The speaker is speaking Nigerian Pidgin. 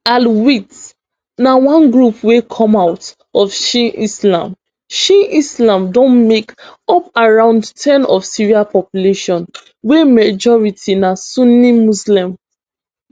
alawites na one group wey come out of shia islam shia islam dem make up around ten of syria population wey majority na sunni muslim